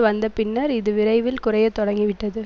வந்த பின்னர் இது விரைவில் குறைய தொடங்கி விட்டது